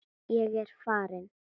Ég er farin!